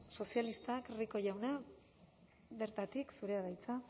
sozialistak rico jauna bertatik zurea da hitza